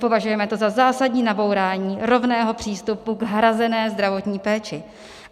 Považujeme to za zásadní nabourání rovného přístupu k hrazené zdravotní péči.